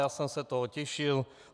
Já jsem na to těšil.